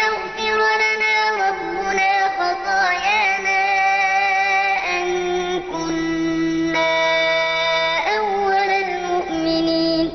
يَغْفِرَ لَنَا رَبُّنَا خَطَايَانَا أَن كُنَّا أَوَّلَ الْمُؤْمِنِينَ